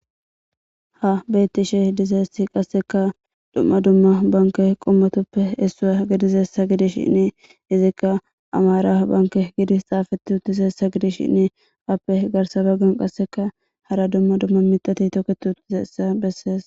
ha bettishe dizyissi qasseka dumma dumma banke qommatoppe essua gidizessa gidishinni izikka amara banke gidis xaafeti utizessa gidis shinni appe garsa baggan qasseka hara dumma dumma mitati tokketi utidayissa bessees